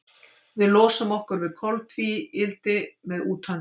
Við losum okkur við koltvíildi með útöndun.